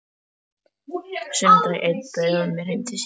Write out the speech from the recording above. Sunnudag einn bauð hún mér heim til sín.